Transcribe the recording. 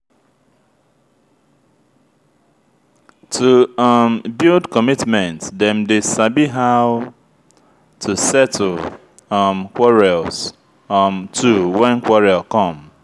to um build commitment them de sabi how to settle um quarrels um too when quarrel come